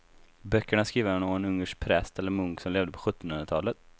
Böckerna är skrivna av en ungersk präst eller munk som levde på sjuttonhundratalet.